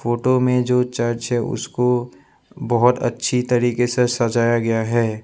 Photo में जो church है उसको बहुत अच्छी तरीके से सजाया गया है।